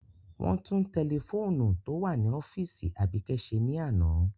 Wọn tun tẹlifoonu to wa ni ọfiisi Abike ṣe ni ana.